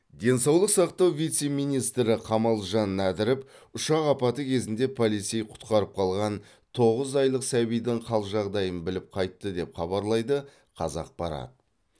денсаулық сақтау вице министрі қамалжан нәдіров ұшақ апаты кезінде полицей құтқарып қалған тоғыз айлық сәбидің қал жағдайын біліп қайтты деп хабарлайды қазақпарат